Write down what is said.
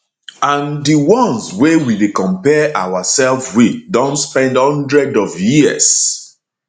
and di ones wey we dey compare oursef wit don spend one hundred of years